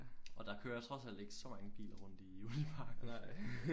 Og der kører trods alt ikke så mange biler rundt i uniparken